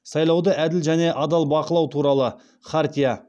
сайлауды әділ және адал бақылау туралы хартия